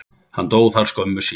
Hann dó þar skömmu síðar.